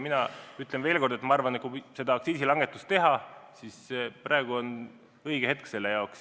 Ma arvan, et kui aktsiisilangetus teha, siis praegu on õige hetk.